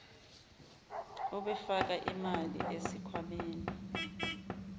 obefaka imali esikhwameni